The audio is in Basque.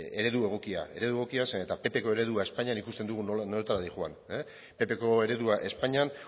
eredu egokia zeren eta ppko eredua espainian ikusten dugu nola nora doan ppko eredua espainian